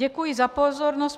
Děkuji za pozornost.